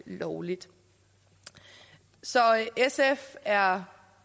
lovligt så sf er